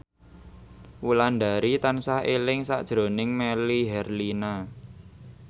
Wulandari tansah eling sakjroning Melly Herlina